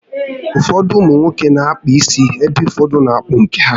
Ụfọdụ ụmụnwoke n'akpa isi ebe ụfọdụ n'akpụ nke ha